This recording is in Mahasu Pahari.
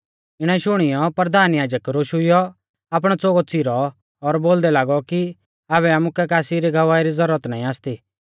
इणै शुणियौ परधान याजक रोशुइयौ आपणौ च़ोगौ च़िरौ और बोलदै लागौ कि आबै आमुकै कासी री गवाही री ज़ुरत नाईं आसती